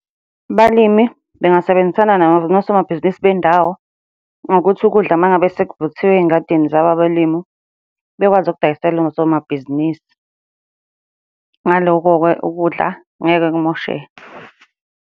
Abalimi bengasebenzisana nosomabhizinisi bendawo, ngokuthi ukudla uma ngabe sekuvuthiwe ey'ngadini zabo abalimu, bekwazi ukudayisela osomabhizinisi. Ngalokho-ke ukudla ngeke kumosheke.